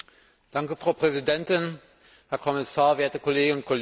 Frau Präsidentin, Herr Kommissar, werte Kolleginnen und Kollegen!